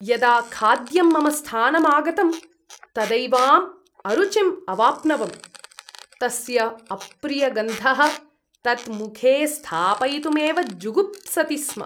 यदा खाद्यं मम स्थानम् आगतम् तदैवाम् अरुचिं अवाप्नवम्। तस्य अप्रियगन्धः तत् मुखे स्थापयितुमेव जुगुप्सति स्म।